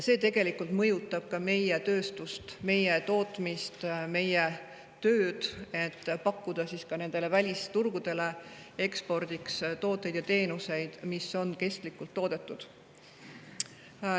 See mõjutab ka meie tööstust, meie tootmist, meie tööd, pakkuda ka nendele välisturgudele tooteid ja teenuseid, mis on kestlikult toodetud.